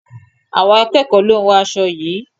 Àwọn akẹ́ẹ̀kọ lo hún aṣo yií.